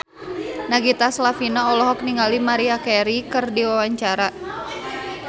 Nagita Slavina olohok ningali Maria Carey keur diwawancara